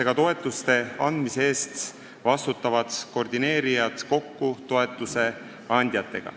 Ka toetuste andmise eest vastutavad koordineerijad viiakse kokku toetuste andjatega.